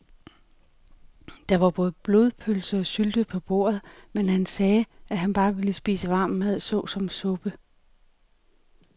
Der var både blodpølse og sylte på bordet, men han sagde, at han bare ville spise varm mad såsom suppe.